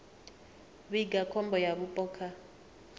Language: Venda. vhiga khombo ya vhupo kha